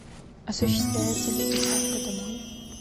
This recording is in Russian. осуществляется ли доставка домой